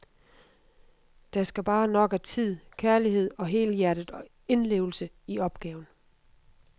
Der skal bare nok af tid, kærlighed og helhjertet indlevelse i opgaven.